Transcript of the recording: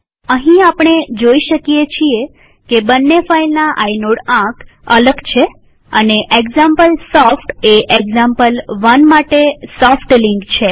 અહીં આપણે જોઈ શકીએ છીએ કે બંને ફાઈલના આઇનોડ આંક અલગ છે અને એક્ઝામ્પલસોફ્ટ એ એક્ઝામ્પલ1 માટે સોફ્ટ લિંક છે